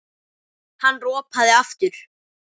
Hann ropaði aftur.